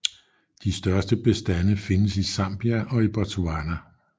De største bestande findes i Zambia og Botswana